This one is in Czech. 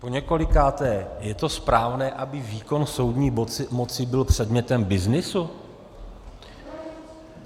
Poněkolikáté, je to správné, aby výkon soudní moci byl předmětem byznysu?